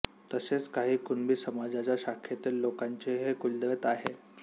तसेच काही कुणबी समाजाच्या शाखेतील लोकांचेही हे कुलदैवत आहे